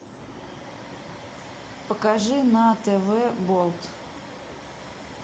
покажи на тв болт